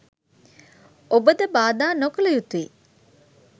ඔබ ද බාධා නොකළ යුතුයි